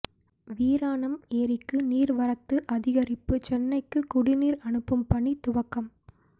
வீராணம் ஏரிக்கு நீர்வரத்து அதிகரிப்பு சென்னைக்கு குடிநீர் அனுப்பும் பணி துவக்கம்